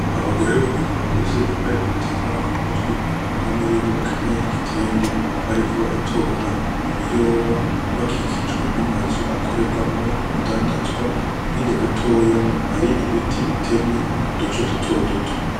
Abagore babiri bakuze bambaye udutambara k'umutwe umwe muribo akenyeye igitenge bariko baratobora Ibiyobe bakikijwe n'amazu akorerwamwo urudandaza hirya gatoya Hari ibiti bitemyemwo uduce duto duto.